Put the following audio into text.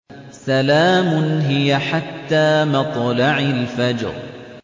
سَلَامٌ هِيَ حَتَّىٰ مَطْلَعِ الْفَجْرِ